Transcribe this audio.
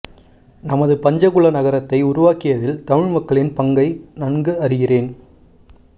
நமது பஞ்சகுலா நகரத்தை உருவாக்கியதில் தமிழ் மக்களின் பங்கை நன்கு அறிகிறேன்